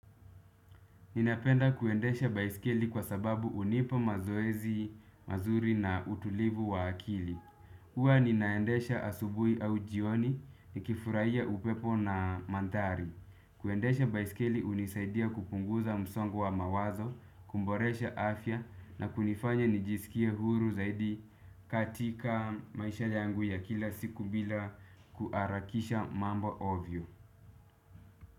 Ninapenda kuendesha baiskeli kwa sababu unipa mazoezi, mazuri na utulivu wa akili. Huwa ninaendesha asubui au jioni nikifurahia upepo na mandhari. Kuendesha baiskeli unisaidia kupunguza msongo wa mawazo, kuboresha afya na kunifanya nijisikie huru zaidi katika maisha yangu ya kila siku bila kuarakisha mambo ovyo.